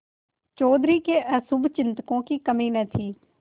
चौधरी के अशुभचिंतकों की कमी न थी